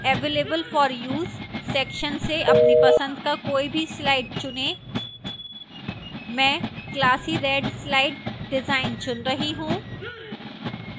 available for use section से अपनी पसंद का कोई भी slide डिजाइन चुनें मैं classy red slide डिजाइन चुन रहा हूं